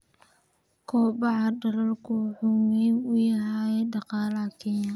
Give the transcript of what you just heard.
Kobaca dalaggu wuxuu muhiim u yahay dhaqaalaha Kenya.